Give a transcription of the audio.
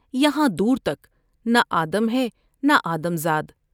یہاں دور تک نہ آدم ہے نہ آدم زاد ۔